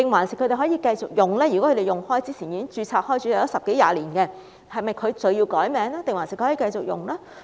如果他們一直使用這個名稱，或之前已經註冊十多二十年，是否需要更改名稱還是可以繼續使用？